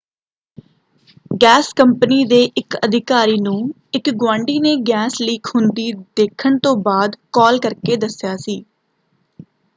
Gas company ਦੇ ਇਕ ਅਧਿਕਾਰੀ ਨੂੰ ਇਕ ਗੁਆਂਢੀ ਨੇ ਗੈਸ ਲੀਕ ਹੁੰਦੀ ਦੇਖਣ ਤੋਂ ਬਾਅਦ ਕਾਲ ਕਰਕੇ ਦੱਸਿਆ ਸੀ।